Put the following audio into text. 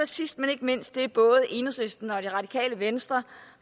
sidst men ikke mindst er der som både enhedslisten og det radikale venstre